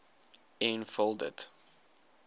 en vul dit